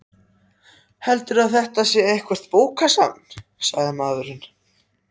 Heldurðu að þetta sé eitthvert bókasafn? sagði maðurinn.